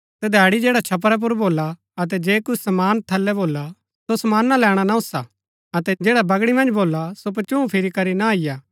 तदैड़ी जैडा छपरा पुर भोला अतै जे कुछ समान थलै भोला सो समाना लैणा न ओसा अतै जैडा बगड़ी मन्ज भोला सो पचूँह फिरी करी न अईआ